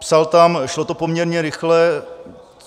Psal tam: Šlo to poměrně rychle.